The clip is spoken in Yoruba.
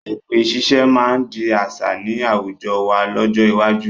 Èpè ṣiṣẹ́ máa di àṣà ni àwùjọ wá lọ́jọ́ iwájú